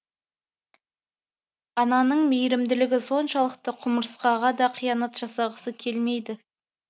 ананың мейірімділігі соншалықты құмырсқаға да қиянат жасағысы келмейді